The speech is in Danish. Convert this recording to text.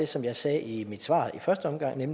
som jeg sagde i mit svar i første omgang er